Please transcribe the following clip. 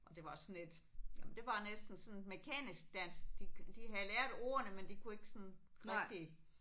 Og det var også sådan lidt jamen det var næsten sådan mekanisk dansk. De havde lært ordene men de kunne ikke sådan rigtig